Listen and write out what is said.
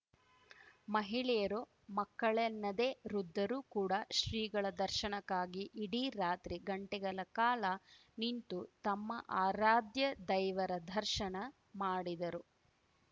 ಮಹಿಳೆಯರು ಮಕ್ಕಳೆನ್ನದೆ ವೃದ್ಧರು ಕೂಡ ಶ್ರೀಗಳ ದರ್ಶನಕ್ಕಾಗಿ ಇಡೀ ರಾತ್ರಿ ಗಂಟೆಗಳ ಕಾಲ ನಿಂತು ತಮ್ಮ ಆರಾಧ್ಯ ದೈವರ ದರ್ಶನ ಮಾಡಿದರು